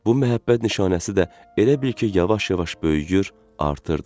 bu məhəbbət nişanəsi də elə bil ki, yavaş-yavaş böyüyür, artırdı.